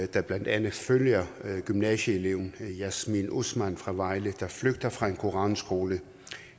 der blandt andet følger gymnasieeleven jasmin osman fra vejle der flygter fra en koranskole